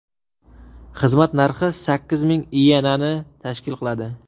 Xizmat narxi sakkiz ming iyenani tashkil qiladi.